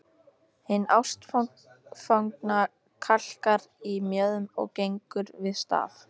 Hin ástfangna kalkar í mjöðm og gengur við staf.